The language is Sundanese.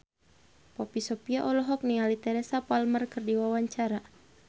Poppy Sovia olohok ningali Teresa Palmer keur diwawancara